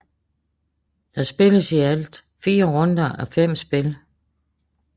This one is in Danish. Der spilles i alt 4 runder á 5 spil